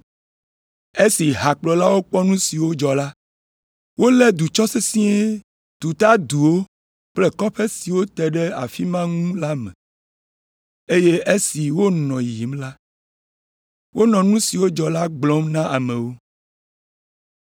Esi hakplɔlawo kpɔ nu siwo dzɔ la, wolé du tsɔ sesĩe tu ta duwo kple kɔƒe siwo te ɖe afi ma ŋu la me, eye esi wonɔ yiyim la, wonɔ nu si dzɔ la gblɔm na amewo.